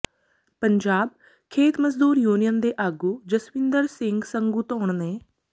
ਪੰਜਾਬ ਖੇਤ ਮਜ਼ਦੂਰ ਯੂਨੀਅਨ ਦੇ ਆਗੂ ਜਸਵਿੰਦਰ ਸਿੰਘ ਸੰਗੂਧੌਣ ਨੇ